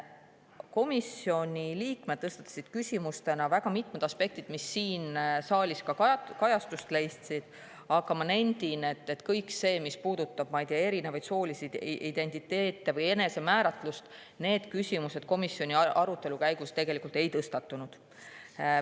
Komisjoni liikmed oma küsimustes mitmeid aspekte, mis siin saaliski kajastust leidsid, aga ma nendin, et see, mis puudutab erinevaid soolisi identiteete või soolist enesemääratlust, komisjoni arutelu käigus ei tõstatunud.